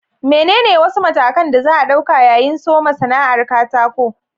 Menene wasu matakan da za a ɗauka yayin soma sana'ar katako?